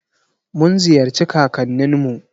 Mun ziyarci kakannin mu.